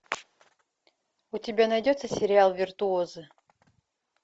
у тебя найдется сериал виртуозы